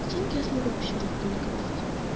деньги я смог вообще легко накопить